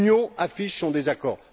L'Union affiche son désaccord.